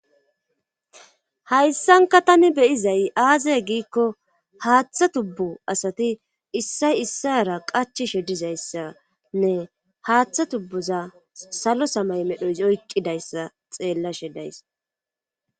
Hayssanka tani beyizay aazey giikko haaththa tubbu asati issay issara qachishe dizayssanne haaththa tubbuza salo samay medhoys oykqidayssa xeellashe days.